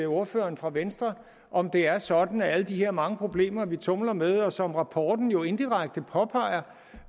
ordføreren for venstre om det er sådan at alle de her mange problemer vi tumler med og som rapporten jo indirekte påpeger